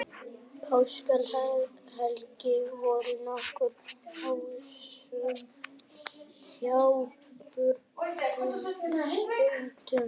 Páskahelgin var nokkuð annasöm hjá björgunarsveitum